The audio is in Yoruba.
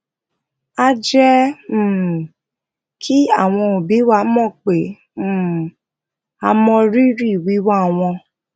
a je um ki awon obi wa mo pe um a mo riri wiwa won